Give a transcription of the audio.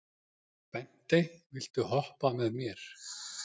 Bentey, viltu hoppa með mér?